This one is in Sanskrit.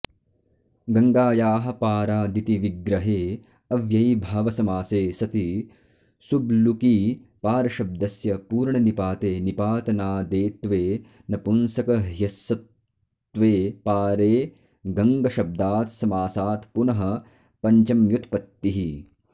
गङ्गायाः पारादिति विग्रहे अव्ययीभावसमासे सति सुब्लुकि पारशब्दस्य पूर्वनिपाते निपातनादेत्वे नपुंसकह्यस्वत्वे पारेगङ्गशब्दात्समासात्पुनः पञ्चम्युत्पत्तिः